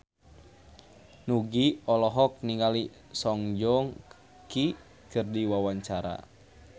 Nugie olohok ningali Song Joong Ki keur diwawancara